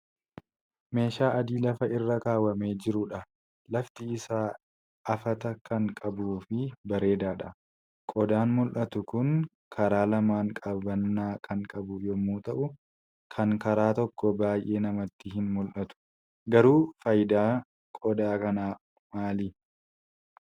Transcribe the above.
Meeshaa adii lafa irra kaawwamee jirudha. Lafti isaa afata kan qabuu fi bareedaadha. Qodaan mul'atu Kun karaa lamaan qabannaa kan qabu yommuu ta'u, kan karaa tokko baay'ee namatti hin mul'atu. garuu faayidaan qodaa kanaa maali?